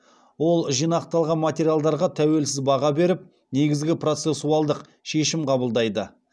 ол жинақталған материалдарға тәуелсіз баға беріп негізгі процессуалдық шешім қабылдайды